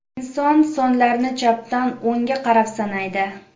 Inson sonlarni chapdan o‘ngga qarab sanaydi.